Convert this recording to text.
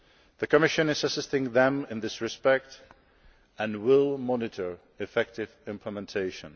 The Commission is assisting them in this respect and will monitor effective implementation.